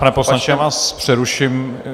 Pane poslanče, já vás přeruším.